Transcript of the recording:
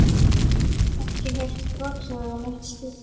Ekki heyrt brothljóð eða neitt slíkt?